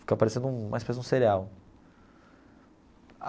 Ficava parecendo um uma espécie de um cereal.